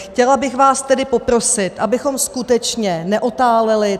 Chtěla bych vás tedy poprosit, abychom skutečně neotáleli.